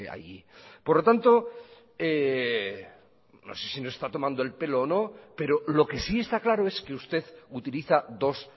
allí por lo tanto no sé si nos está tomando el pelo o no pero lo que si está claro es que usted utiliza dos